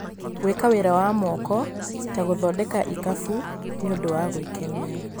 Gwĩka wĩra wa moko, ta gũthondeka ikabũ, nĩ ũndũ wa gwĩkenia.